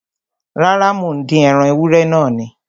Rárá, mò ń dín ẹran ewúrẹ́ náà ni